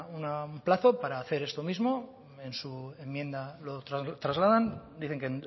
un plazo para hacer esto mismo en su enmienda lo trasladan dicen que